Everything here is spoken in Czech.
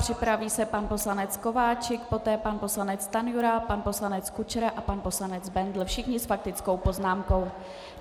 Připraví se pan poslanec Kováčik, poté pan poslanec Stanjura, pan poslanec Kučera a pan poslanec Bendl, všichni s faktickou poznámkou.